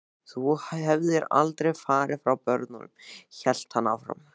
Þú hefðir aldrei farið frá börnunum, hélt hann áfram.